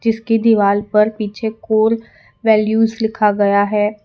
जिसकी दीवाल पर पीछे कोर वैल्यूज लिखा गया है।